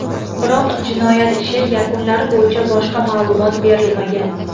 Biroq, jinoyat ishi yakunlari bo‘yicha boshqa ma’lumot berilmagan.